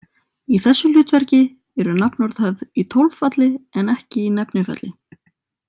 Í þessu hlutverki eru nafnorð höfð í tólfalli en ekki í nefnifalli.